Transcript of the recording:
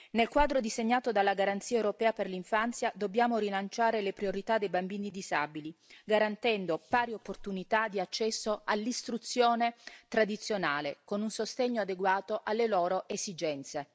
Nel quadro disegnato dalla garanzia europea per l'infanzia dobbiamo rilanciare le priorità dei bambini disabili, garantendo pari opportunità di accesso all'istruzione tradizionale con un sostegno adeguato alle loro esigenze.